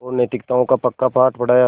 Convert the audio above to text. और नैतिकताओं का पक्का पाठ पढ़ाया